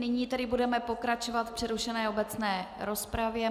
Není tedy budeme pokračovat v přerušené obecné rozpravě.